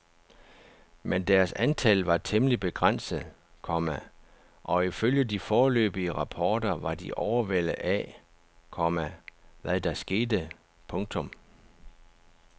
Men deres antal var temmelig begrænset, komma og ifølge de foreløbige rapporter var de overvældet af, komma hvad der skete. punktum